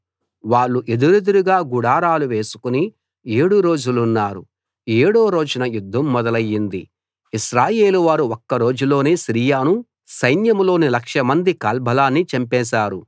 వాళ్ళు ఎదురెదురుగా గుడారాలు వేసుకుని ఏడు రోజులున్నారు ఏడో రోజున యుద్ధం మొదలయింది ఇశ్రాయేలు వారు ఒక్క రోజులోనే సిరియను సైన్యంలోని లక్షమంది కాల్బలాన్ని చంపేశారు